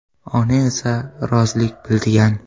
Ona esa rozilik bildigan.